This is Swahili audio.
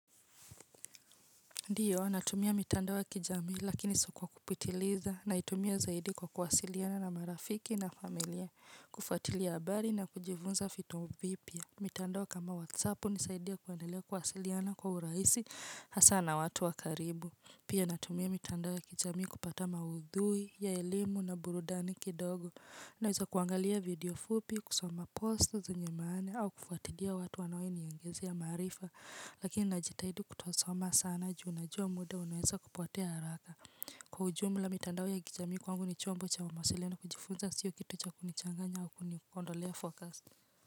Ndiyo natumia mitandao ya kijamiii lakini si kwa kupitiliza naitumia zaidi kwa kuwasiliana na marafiki na familia kufatilia habari na kujivunza fitu vipya. Mitandao kama whatsapp hunisaidia kuendelea kuwasiliana kwa uraisi hasa na watu wa karibu. Pia natumia mitandao ya kijamii kupata maudhui ya elimu na burudani kidogo. Naeza kuangalia video fupi, kusoma post zenye maana, au kufuatilia watu wanaoniingisia maarifa. Lakini najitahidi kutosoma sana juu najua muda unaweza kupotea haraka. Kwa ujumula mitandao ya kijamii kwangu ni chombo cha mawasiliano kujifunza siyo kitu cha kunichanganya au kuniondolea focus.